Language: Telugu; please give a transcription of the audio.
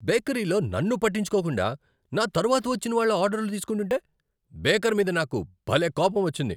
బేకరీలో నన్ను పట్టించుకోకుండా, నా తరువాత వచ్చిన వాళ్ళ ఆర్డర్లు తీసుకుంటుంటే, బేకర్ మీద నాకు భలే కోపమొచ్చింది.